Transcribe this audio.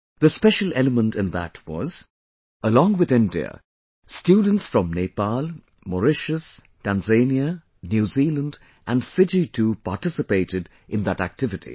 The special element in that was along with India, students from Nepal, Mauritius, Tanzania, New Zealand and Fiji too participated in that activity